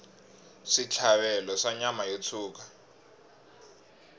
switlhavelo swa nyama yo tshuka